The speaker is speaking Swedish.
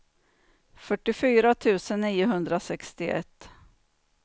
fyrtiofyra tusen niohundrasextioett